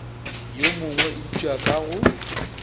yo mongwe eupša ka go